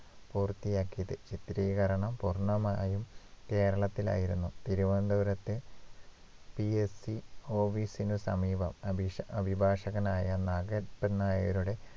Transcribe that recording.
പൂർത്തിയാക്കിയത് ചിത്രീകരണം പൂർണമായും കേരളത്തിലായിരുന്നു തിരുവനന്തപുരത്തെ PSVOV സിനു സമീപം അബീഷ അഭിഭാഷകനായ നാഗപ്പൻ നായരുടെ